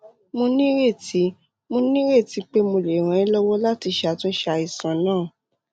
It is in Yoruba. mo nírètí mo nírètí pé mo lè ràn ẹ́ lọ́wọ́ láti ṣàtúnṣe àìsàn náà